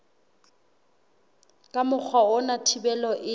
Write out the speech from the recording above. ka mokgwa ona thibelo e